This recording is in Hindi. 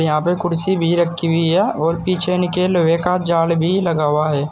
यहां पे कुर्सी भी रखी हुई है और पीछे इनके लोहे का जाल भी लगा हुआ है।